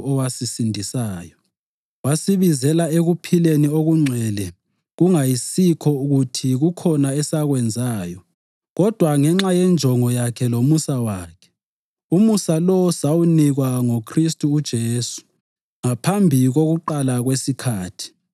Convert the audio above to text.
owasisindisayo, wasibizela ekuphileni okungcwele kungayisikho kuthi kukhona esakwenzayo kodwa ngenxa yenjongo yakhe langomusa wakhe. Umusa lo sawunikwa ngoKhristu uJesu ngaphambi kokuqala kwesikhathi